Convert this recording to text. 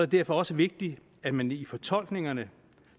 derfor også vigtigt at man i fortolkningerne